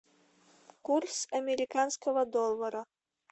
курс американского доллара